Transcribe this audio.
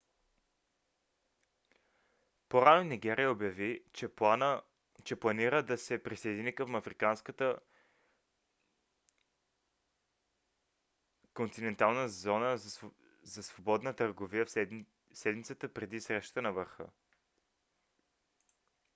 по-рано нигерия обяви че планира да се присъедини към африканската континентална зона за свободна търговия в седмицата преди срещата на върха